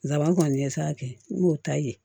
Nsaban kɔni ɲɛsa n b'o ta yen